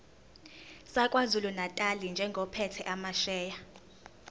sakwazulunatali njengophethe amasheya